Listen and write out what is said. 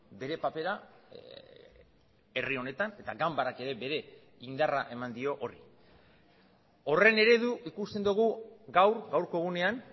bere papera herri honetan eta ganbarak ere bere indarra eman dio horri horren eredu ikusten dugu gaur gaurko egunean